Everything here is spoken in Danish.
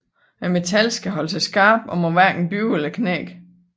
Metallet skal holde sig skarpt og må hverken bøje eller knække